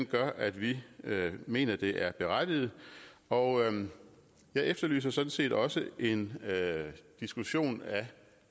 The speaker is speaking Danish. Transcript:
gør at vi mener det er berettiget og jeg efterlyser sådan set også en diskussion af